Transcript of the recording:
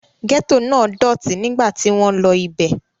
Gẹ́tò náà dọ̀tí nígbà tí wọ́n lọ ibẹ̀.